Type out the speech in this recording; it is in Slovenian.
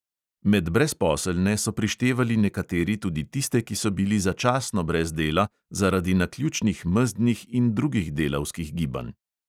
Med brezposelne so prištevali nekateri tudi tiste, ki so bili začasno brez dela zaradi naključnih mezdnih in drugih delavskih gibanj.